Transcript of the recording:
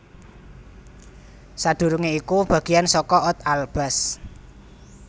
Sadurungé iku bagiyan saka Oud Alblas